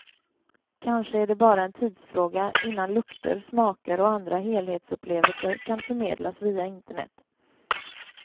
Kanske är det bara en tidsfråga innan lukter, smaker och andra helhetsupplevelser kan förmedlas via internet.